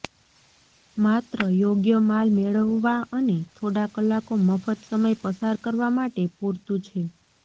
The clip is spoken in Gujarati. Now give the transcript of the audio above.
માત્ર યોગ્ય માલ મેળવવા અને થોડા કલાકો મફત સમય પસાર કરવા માટે પૂરતું છે